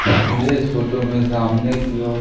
मुझे इस फोटो में सामने की ओर--